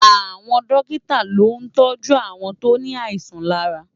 Awòn Dòkitá ló ntòjú áwòn tó ni áisàn làrá